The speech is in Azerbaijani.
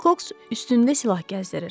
Wilcox üstündə silah gəzdirir.